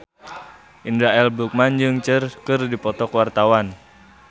Indra L. Bruggman jeung Cher keur dipoto ku wartawan